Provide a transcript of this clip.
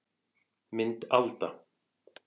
Mynd Alda